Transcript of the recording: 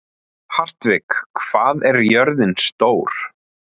Hartvig, hvað er jörðin stór?